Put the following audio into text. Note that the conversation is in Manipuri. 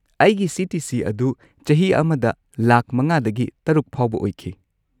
ꯑꯩꯒꯤ ꯁꯤ.ꯇꯤ.ꯁꯤ. ꯑꯗꯨ ꯆꯍꯤ ꯑꯃꯗ ꯂꯥꯈ ꯵ꯗꯒꯤ ꯶ ꯐꯥꯎꯕ ꯑꯣꯏꯈꯤ꯫